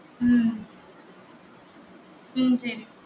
ஹம் உம் சரி